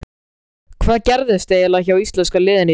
Hvað gerðist eiginlega hjá íslenska liðinu í dag?